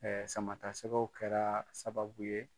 Ɛɛ sama ta sɛgɛw kɛra sababu ye